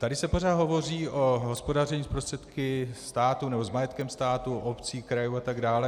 Tady se pořád hovoří o hospodaření s prostředky státu nebo s majetkem státu, obcí, krajů atd.